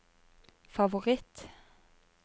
favoritt